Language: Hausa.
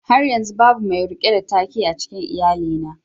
Har yanzu babu mai rike da take a cikin iyalina